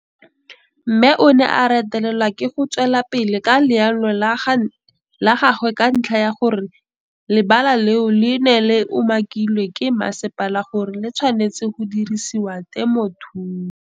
Mme o ne a retelelwa ke go tswela pele ka leano la gagwe ka ntlha ya gore le bala leo le ne le umakilwe ke masepala gore le tshwanetse go dirisediwa temothuo.